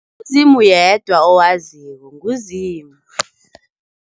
NguZimu yedwa owaziko, nguZimu,